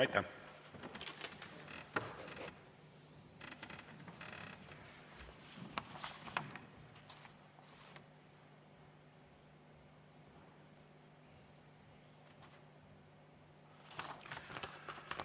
Aitäh!